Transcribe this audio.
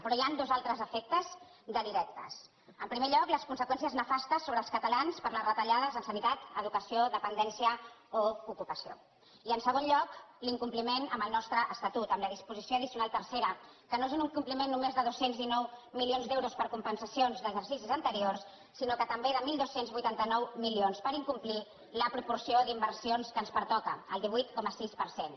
però hi ha dos altres efectes directes en primer lloc les conseqüències nefastes sobre els catalans per les retallades en sanitat educació dependència o ocupació i en segon lloc l’incompliment del nostre estatut amb la disposició addicional tercera que no és un incompliment només de dos cents i dinou milions d’euros per compensacions d’exercicis anteriors sinó també de dotze vuitanta nou milions en incomplir la proporció d’inversions que ens pertoca el divuit coma sis per cent